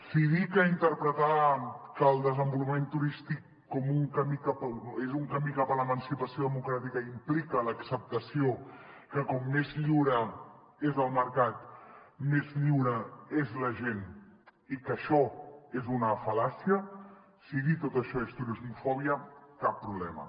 si dir que interpretar que el desenvolupament turístic és un camí cap a l’emancipació democràtica implica l’acceptació que com més lliure és el mercat més lliure és la gent i que això és una fal·làcia si dir tot això és turismofòbia cap problema